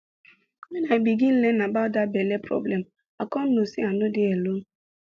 when i begin learn about that belle problem i come know say i no dey alone